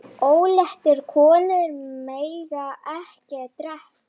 Óléttar konur mega ekki drekka.